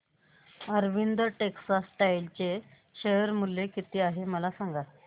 Arvind textile चे share मूल्य किती आहे मला सांगा